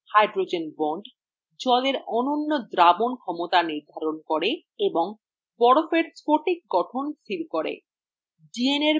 hydrogen bondsজলের অনন্য দ্রাবন ক্ষমতা নির্ধারণ করে এবং বরফএর স্ফটিক গঠন স্থির করে